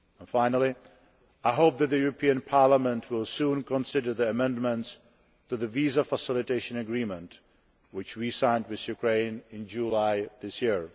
Finally, I hope that the European Parliament will soon consider the amendments to the Visa Facilitation Agreement which we signed with Ukraine in July this year.